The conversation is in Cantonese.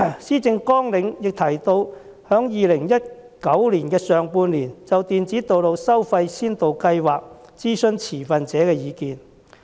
施政綱領亦提到在2019年上半年就電子道路收費先導計劃諮詢持份者的意見。